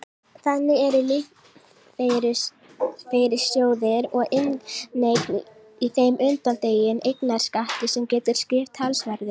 Þannig eru lífeyrissjóðir og inneign í þeim undanþegin eignarskatti sem getur skipt talsverðu.